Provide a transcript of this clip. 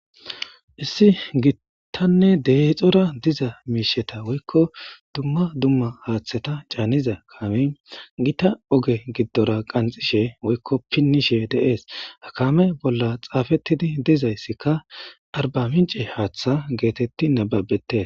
issi gittanne deexora diza miisheta woykko dumma dumma haaththeta caaniza kaame gita oge giddora qanxishe woykko pinnishe deees hakame bolla xaafettidi dizayssikka arba mince haaththa geetetti nababete